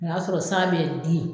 O y'a sɔrɔ san bɛ di